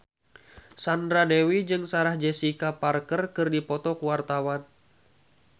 Sandra Dewi jeung Sarah Jessica Parker keur dipoto ku wartawan